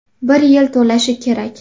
Bir yil to‘lishi kerak.